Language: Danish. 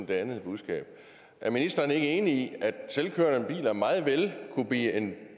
det andet budskab er ministeren ikke enig i at selvkørende biler meget vel kunne blive en